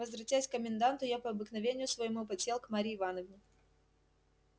возвратясь к коменданту я по обыкновению своему подсел к марье ивановне